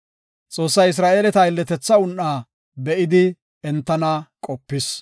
Xoossay Isra7eeleta aylletetha un7aa be7idi entana qopis.